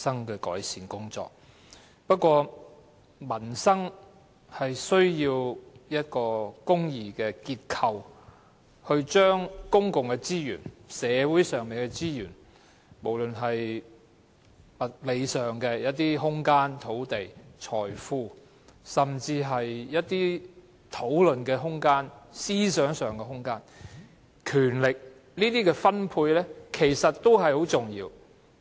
然而，民生需要一個公義的結構來分配公共資源、社會上的資源，不論是物理上的空間、土地、財富，還是一些討論空間、思想空間、權力，這些也很重要。